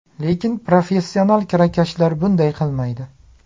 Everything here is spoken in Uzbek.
Lekin professional kirakashlar bunday qilmaydi.